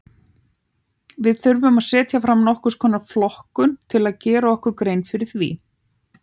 Við þurfum að setja fram nokkurs konar flokkun til að gera okkur grein fyrir því.